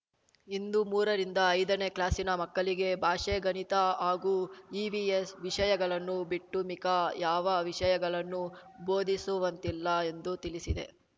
ಇನ್ನು ಮೂರರಿಂದ ಐದನೇ ಕ್ಲಾಸಿನ ಮಕ್ಕಳಿಗೆ ಭಾಷೆ ಗಣಿತ ಹಾಗೂ ಇವಿಎಸ್‌ ವಿಷಯಗಳನ್ನು ಬಿಟ್ಟು ಮಿಕ ಯಾವ ವಿಷಯಗಳನ್ನೂ ಬೋಧಿಸುವಂತಿಲ್ಲ ಎಂದು ತಿಳಿಸಿದೆ